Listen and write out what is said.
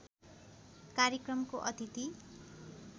कार्यक्रमको अतिथि